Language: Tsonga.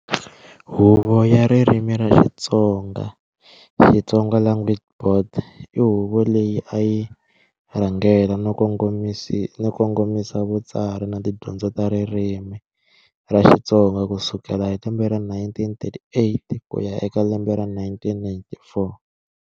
Huvo ya ririmi ra Xitsonga, Xitsonga language board, i huvo leyi a yi rhangela no kongomisa vutsari na tidyondzo ta ririmi ra Xitsonga kusukela hi lembe ra 1938 kuya eka lembe ra 1994.